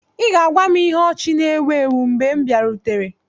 Ị ga-agwa m ihe ọchị na-èwu èwu mgbè m biarutere